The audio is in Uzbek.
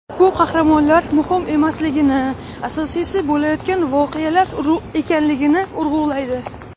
Bu qahramonlar muhim emasligini, asosiysi bo‘layotgan voqealar ekanligini urg‘ulaydi.